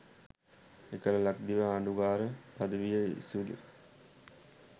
එකල ලක්දිව ආණ්ඩුකාර පදවිය ඉසිලු